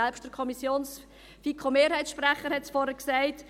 Selbst der FiKo-Mehrheitssprecher hat es vorhin gesagt: